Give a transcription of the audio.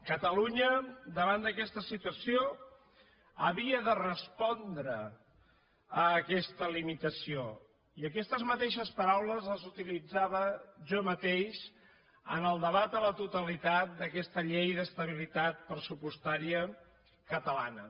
catalunya davant d’aquesta situació havia de respondre a aquesta limitació i aquestes mateixes paraules les utilitzava jo mateix en el debat a la totalitat d’aquesta llei d’estabilitat pressupostària catalana